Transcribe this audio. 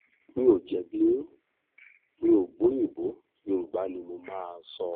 mi ò jẹ̀bi yín mi ò gbọ́ òyìnbó yorùbá ni mo máa sọ